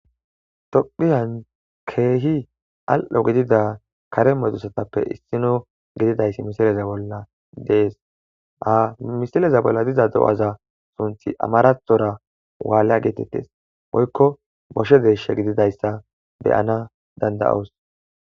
tophiyan keehi al7o gidida kare modusatappe issino gididayssi misileza bolla dees ha misileza bolla diza do7aza sunthi amarathora waalla geetettes boykko boshe deeshe gididayssa beyana danda7oos